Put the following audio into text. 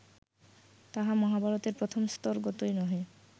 তাহা মহাভারতের প্রথম স্তরগতও নহে